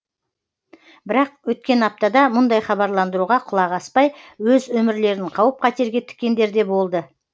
бірақ өткен аптада мұндай хабарландыруға құлақ аспай өз өмірлерін қауіп қатерге тіккендер де болды